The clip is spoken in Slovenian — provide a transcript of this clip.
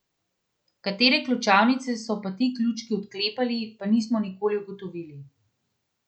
Katere ključavnice so pa ti ključi odklepali, pa nismo nikoli ugotovili.